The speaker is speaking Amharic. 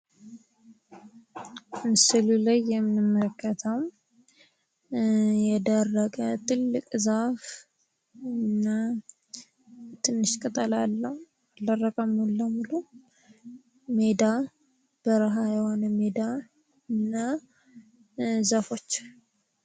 በምስሉ ላይ የምንመለከተው የደረቀ ትልቅ ዛፍ እና ትንሽ ቅጠል አለው አልደረቀም ሙሉ በሙሉ ሜዳ በረሃ የሆነ ሜዳ እና ዛፎች።